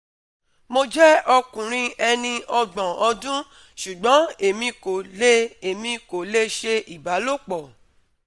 Mo jẹ ọkunrin eni ogbon ọdun ṣugbọn emi ko le emi ko le ṣe ibalopo